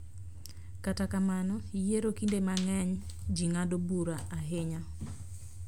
Kata kamano, yiero kinde mang�eny ji ng�ado bura ahinya,